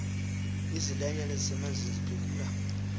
izilwanyana ezisemanzini ziphefumla